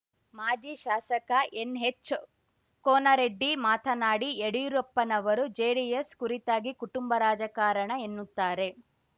ಮಾಜಿ ಶಾಸಕ ಎನ್‌ಎಚ್‌ ಕೋನರೆಡ್ಡಿ ಮಾತನಾಡಿ ಯಡಿಯೂರಪ್ಪನವರು ಜೆಡಿಎಸ್‌ ಕುರಿತಾಗಿ ಕುಟುಂಬ ರಾಜಕಾರಣ ಎನ್ನುತ್ತಾರೆ